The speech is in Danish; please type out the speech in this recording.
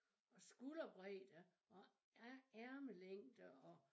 Og skulderbredde og ærmelængde og